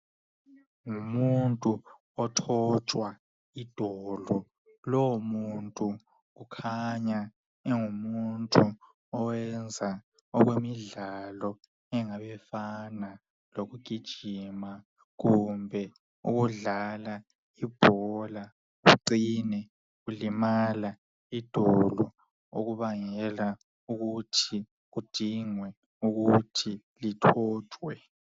Ngumuntu othotshwa idolo lowomuntu ukhanya engumuntu uyenza uhlalo ofana lokugijima kumbe ukudlala ibhola ucine ulimala idoba okubangela ukuthi lithotshwe